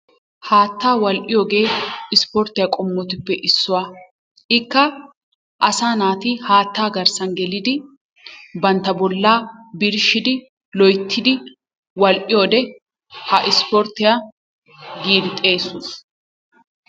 Haattaa wal''iyogee ispporttiyaa qommotuppe issuwaa. Ikka asaa naati haattaa garssan gelidi bantta bollaa birshshidi loyttidi wal''iyode ha ispporttiya gii xeesoos.